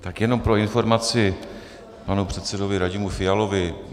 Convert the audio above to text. Tak jenom pro informaci panu předsedovi Radimu Fialovi.